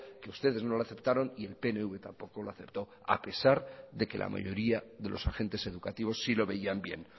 que ustedes no lo aceptaron y el pnv tampoco lo aceptó a pesar de que la mayoría de los agentes educativos sí lo veían bien